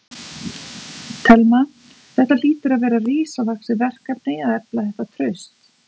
Telma: Þetta hlýtur að vera risavaxið verkefni að efla þetta traust?